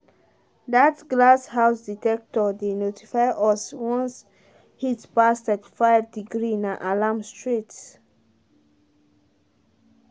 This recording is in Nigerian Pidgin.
that glass house dectector dey notify us once heat pass 35 degree na alarm straight.